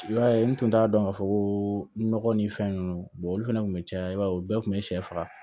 I b'a ye n tun t'a dɔn k'a fɔ ko nɔgɔ ni fɛn ninnu olu fɛnɛ kun bɛ caya i b'a ye u bɛɛ tun bɛ sɛ faga